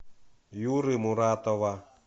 юры муратова